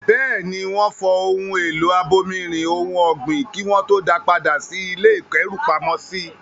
Bẹ́ẹ̀ ni, wọ́n fọ ohun èlò abomirin ohun ọ̀gbìn kí wọ́n tó da padà sí ilé ìkẹ́rùpamọ́sí.